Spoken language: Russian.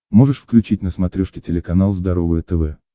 можешь включить на смотрешке телеканал здоровое тв